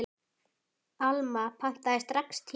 Alma pantaði strax tíma.